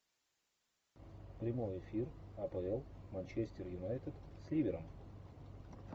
прямой эфир апл манчестер юнайтед с ливером